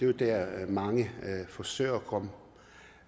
jo der mange forsøger